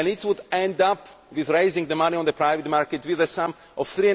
This would end up, raising the money on the private market, with the sum of